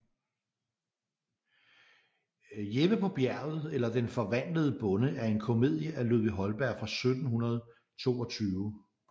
Jeppe på Bjerget eller Den forvandlede Bonde er en komedie af Ludvig Holberg fra 1722